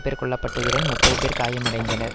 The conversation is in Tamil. பேர் கொல்ல பட்டதுடன் முப்பது பேர் காயமடைந்தனர்